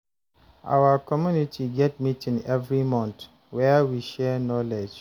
Our community get meeting every month, where we share knowledge.